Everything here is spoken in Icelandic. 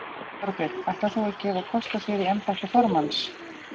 Þorbjörn: Ætlar þú að gefa kost á þér í embætti formanns?